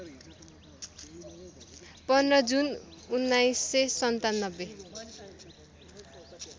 १५ जुन १९९७